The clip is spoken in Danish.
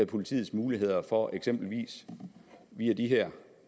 politiets muligheder for eksempelvis via via